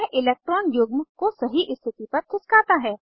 यह इलेक्ट्रान युग्म को सही स्थिति पर खिसकाता है